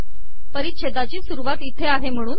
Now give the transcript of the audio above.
पिरचछेदाची सुरवात इथे आहे महणून